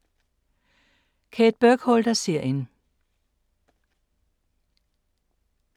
Kate Burkholder-serien